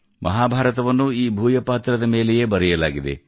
ಮಹಾಭಾರತವನ್ನೂ ಈ ಭೂಯಪಾತ್ರದ ಮೇಲೆಯೇ ಬರೆಯಲಾಗಿದೆ